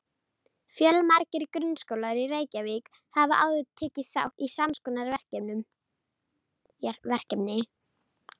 Fjölmargir grunnskólar í Reykjavík hafa áður tekið þátt í sams konar verkefni.